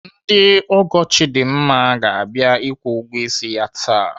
Ndị ọgọ Chidimma ga-abịa akwụ ụgwọ ịsị ya taa.